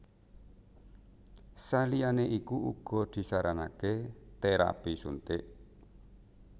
Saliyané iku uga disaranaké térapi suntik